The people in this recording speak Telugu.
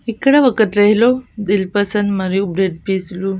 ఇక్కడ ఒక ట్రే లో దిల్ పసంద్ మరియు బ్రెడ్ పీస్ లు --